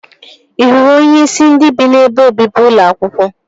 Ị hụrụ onyeisi ndị bi n'ebe obibi ụlọ akwụkwọ?